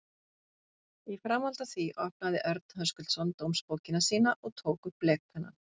Í framhaldi af því opnaði Örn Höskuldsson dómsbókina sína og tók upp blekpennann.